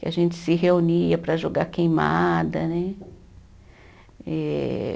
Que a gente se reunia para jogar queimada, né? Eh